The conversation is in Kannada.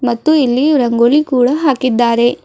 ಮತ್ತು ಇಲ್ಲಿ ರಂಗೋಲಿ ಕೂಡ ಹಾಕಿದ್ದಾರೆ.